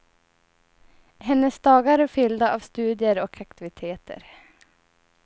Hennes dagar är fyllda av studier och aktiviteter.